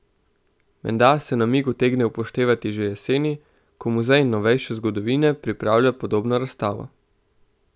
Menda se namig utegne upoštevati že jeseni, ko Muzej novejše zgodovine pripravlja podobno razstavo.